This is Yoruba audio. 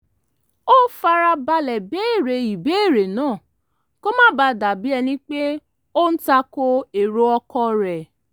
ó fara balẹ̀ béèrè ìbéèrè náà kó má bàa dà bí ẹni pé ó ń ta ko èrò ọkọ rẹ̀